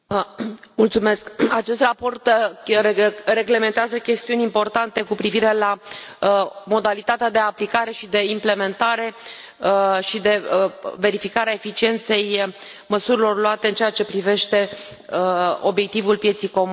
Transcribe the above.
Domnule președinte, acest raport reglementează chestiuni importante cu privire la modalitatea de aplicare, de implementare și de verificare a eficienței măsurilor luate în ceea ce privește obiectivul pieței comune.